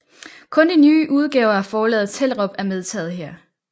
Kun de nye udgaver fra Forlaget Tellerup er medtaget her